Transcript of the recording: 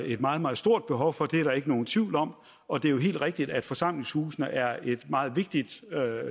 et meget meget stort behov for det er der ikke nogen tvivl om og det er jo helt rigtigt at forsamlingshusene er et meget vigtigt